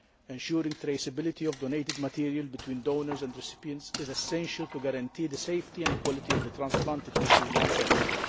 Ensuring traceability of donated material between donors and recipients is essential in order to guarantee the safety and quality of the transplanted tissues and cells.